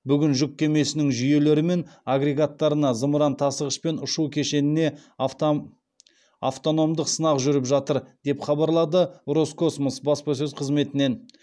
бүгін жүк кемесінің жүйелері мен агрегаттарына зымыран тасығыш пен ұшу кешеніне автономдық сынақ жүріп жатыр деп хабарлады роскосмос баспасөз қызметінен